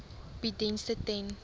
bied dienste ten